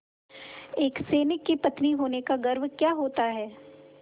एक सैनिक की पत्नी होने का गौरव क्या होता है